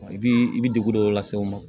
I bi i bi degun dɔ lase aw ma